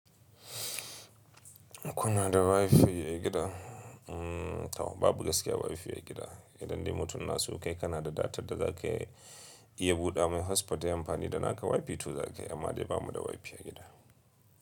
Kuma da Wi-Fi a gida mm to ba bu gaskiya ba Wi-Fi ya gida, idan dai mutum na suka yi Kanada data da za ka iya buɗe mai hotspot yayi am fani da naka Wi-Fi to za ka yi amma dai ba mu da Wi-Fi ya gida.